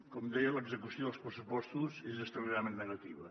com deia l’execució dels pressupostos és extraordinàriament negativa